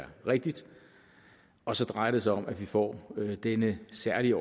er rigtigt og så drejer det sig om at vi får denne særlige